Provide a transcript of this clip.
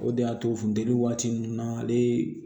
O de y'a to funteni waati ninnu na ale